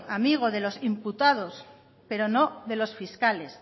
amigo de los imputados pero no de los fiscales